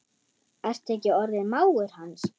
Ertu ekki orðinn mágur hans?